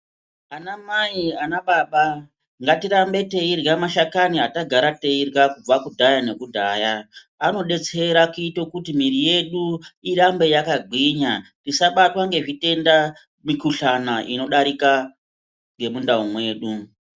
Ana mai ana baba ngatirambe teirya mashakani atagara teirya kubva kudhaya nekudhaya. Anodetsera kuti mwiri yedu irambe yakagwinya isabatwa nezvitenda, mikhuhlane inodarika nemundau mwedu.